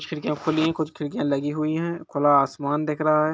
कुछ खिड़किया खुली है कुछ लगी हुई है खुला आसमान दिख रहा है।